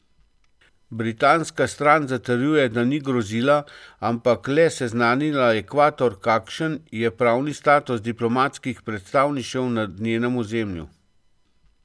Britanska stran zatrjuje, da ni grozila, ampak le seznanila Ekvador, kakšen je pravni status diplomatskih predstavništev na njenem ozemlju.